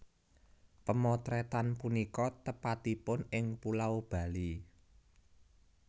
Pemotretan punika tepatipun ing Pulau Bali